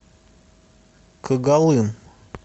когалым